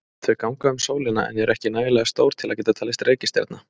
Þau ganga um sólina en eru ekki nægilega stór til að geta talist til reikistjarna.